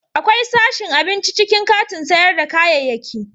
Akwai sashin abinci a cikin katin sayar da kayayyaki.